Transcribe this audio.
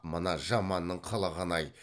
мына жаманның қылығын ай